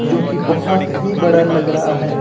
जो की बहोत ही बड़ा लग रहा है।